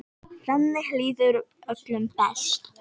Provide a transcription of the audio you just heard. Þannig líður öllum best.